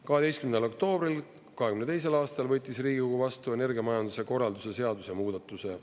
12. oktoobril 2022. aastal võttis Riigikogu vastu energiamajanduse korralduse seaduse muudatuse.